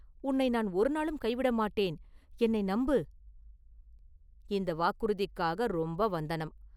உன்னை நான் ஒருநாளும் கைவிட மாட்டேன் என்னை நம்பு!..” “இந்த வாக்குறுதிக்காக ரொம்ப வந்தனம்.